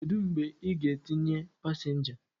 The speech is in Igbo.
Kedu mgbe ị ga-etinyecha pasenja?